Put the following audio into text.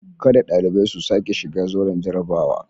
Kada dalibai su sake shiga zauren jarrabawa.